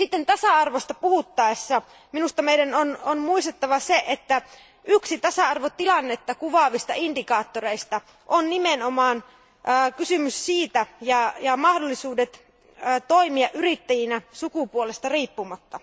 Tasa arvosta puhuttaessa meidän on muistettava se, että yksi tasa arvotilannetta kuvaavista indikaattoreista on nimenomaan kysymys yrittäjyydestä ja mahdollisuudet toimia yrittäjinä sukupuolesta riippumatta.